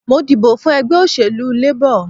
Mo dìbọ̀ fún ẹgbẹ́ òṣèlú Labor